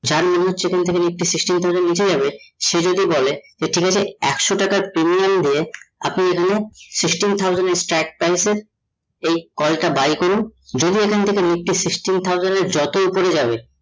চার nifty sixteen thousand নিচে যাবে সে যদি বলে এর থেকে একশো টাকার premium দিয়ে আপনি এখানে sixteen thousand এর price এ এই call টা buy করুন, যদি এখন থেকে nifty sixteen thousand এর যত ওপরে যাবে